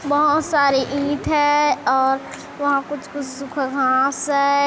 बहोत सारी ईंट है और वहाँ कुछ सुखा घास है।